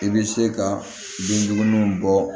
I bɛ se ka bin duguni bɔ